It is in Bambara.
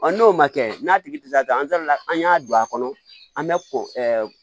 n'o ma kɛ n'a tigi tɛ se ka kɛ an da la an y'a don a kɔnɔ an bɛ ko